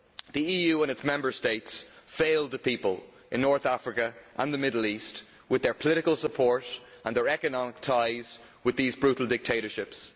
The EU and its Member States failed the people in North Africa and the Middle East through their political support and their economic ties with these brutal dictatorships.